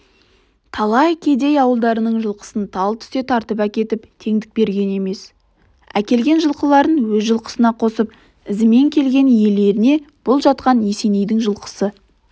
талай кедей ауылдардың жылқысын тал түсте тартып әкетіп теңдік берген емес әкелген жылқыларын өз жылқысына қосып ізімен келген иелерінебұл жатқан есенейдің жылқысы